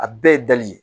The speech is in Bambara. A bɛɛ ye dali ye